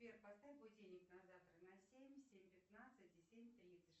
сбер поставь будильник на завтра на семь семь пятнадцать и семь тридцать